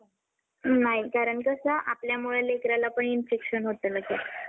नाही. कारण कसं आपल्यामुळे लेकराला पण infection होतं लगेच.